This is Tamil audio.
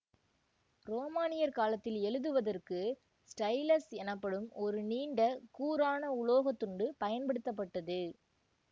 ரோமானியர் காலத்தில் எழுதுவதற்கு ஸ்டைலஸ் எனப்படும் ஒரு நீண்ட கூரான உலோகத்துண்டு பயன்படுத்தப்பட்டது